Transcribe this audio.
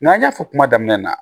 N'an y'a fɔ kuma daminɛ na